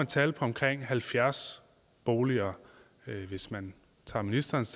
tal på omkring halvfjerds boliger hvis man tager ministerens